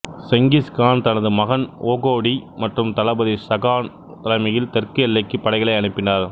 செங்கிஸ்கான் தனது மகன் ஒகோடி மற்றும் தளபதி சகான் தலைமையில் தெற்கு எல்லைக்கு படைகளை அனுப்பினார்